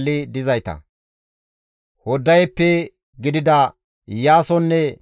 Giddele, Gaharenne Era7aye zereththata,